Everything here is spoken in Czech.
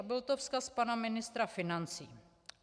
A byl to vzkaz pana ministra financí.